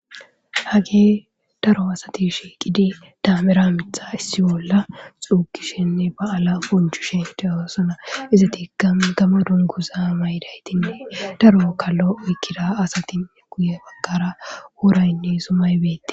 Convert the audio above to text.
Hagge daro asatti shiqidi dammera miiththa essiyo gaala xuugishininne baala bonchchishi de'ossona. izettika Gamo dungguza may'idayttinne daro bukkalo oykkida asatti guuye baggara woraynne zummay bettes.